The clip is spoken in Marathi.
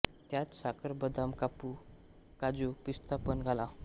त्यात साखर बदाम काप काजू पिस्ता पण घाला